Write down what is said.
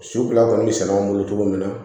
So fila kɔni bɛ sɛnɛ anw bolo cogo min na